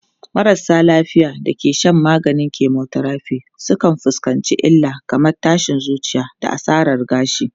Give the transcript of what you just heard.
Marasa lafiya da ke shan maganin chemotherapy sukan fuskanci illa kamar tashin zuciya da asarar gashi.